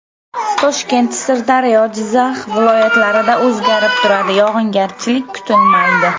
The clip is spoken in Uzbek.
Toshkent, Sirdaryo, Jizzax viloyatlarida o‘zgarib turadi, yog‘ingarchilik kutilmaydi.